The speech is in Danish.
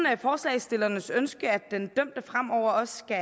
forslagsstillernes ønske at den dømte fremover også skal